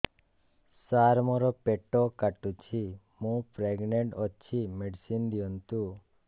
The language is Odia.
ସାର ମୋର ପେଟ କାଟୁଚି ମୁ ପ୍ରେଗନାଂଟ ଅଛି ମେଡିସିନ ଦିଅନ୍ତୁ